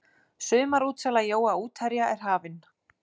Sumarútsala jóa útherja er hafin.